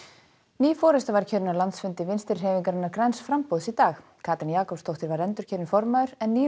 ný forysta var kjörin á landsfundi Vinstri hreyfingarinnar græns framboðs í dag Katrín Jakobsdóttir var endurkjörin formaður en nýr